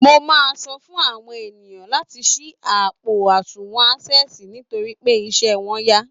Mo máa sọ fún àwọn èèyàn láti ṣí àpò àsùnwọ̀n Access nitorí pé iṣẹ́ wọn yá